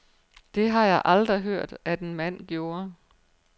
Det har jeg aldrig hørt, at en mand gjorde.